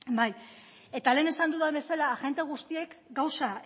bai eta lehen esan dudan bezala agente guztiek gauza